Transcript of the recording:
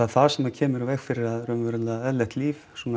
það sem kemur í veg fyrir að eðlilegt líf svona